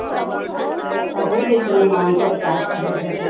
ପାଖରେ ଥିଲା ମାଙ୍କଡ park ରେ ଗୋଟେ